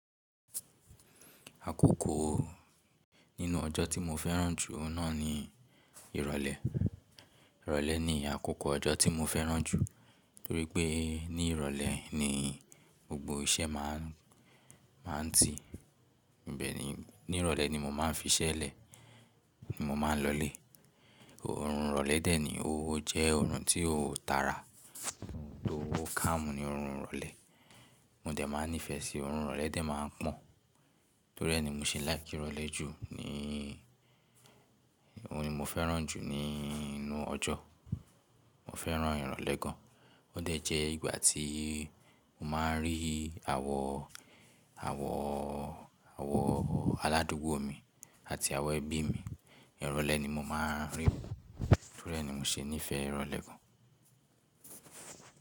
Àkókò nínú ọjọ́ tí mo fẹ́ràn jù náà ni ìrọ̀lẹ́. Ìrọ̀lẹ́ ni àkókò ọjọ́ tí mo fẹ́ràn jù torí pé ní ìrọ̀lẹ́ ni gbogbo iṣẹ́ máà ń, máà ń ti. Bẹ̀ẹ́ni ní ìrọ̀lẹ́ ni mo máa ń fi iṣẹ́ lẹ̀, mo máa ń lọlé. Òórùn ìrọ̀lẹ́ dẹ̀ ni, ó jẹ́ òórùn tí ó tàrà, to calm ní òórùn ìrọ̀lẹ́. Mo dẹ̀ máa ń nífẹ̀ẹ́ sí òórùn ìrọ̀lẹ́ dẹ̀ máa ń pọ̀n. Torí ẹ ni mo ṣe like ìrọ̀lẹ́ jù ni, òun ni mo fẹ́ràn jù nínú ọjọ́. Mo fẹ́ràn ìrọ̀lẹ́ gan. Ó dẹ̀ jẹ́ ìgbà tí mo máa ń rí àwọn, àwọn, àwọn aládùúgbò mi àti àwọn ẹbí mi. Ìrọ̀lẹ́ ni mo máa ń rí wọ́n torí ẹ ni mo ṣe nífẹ̀ẹ́ ìrọ̀lẹ́ gan.